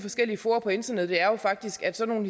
fora på internettet er jo faktisk at sådan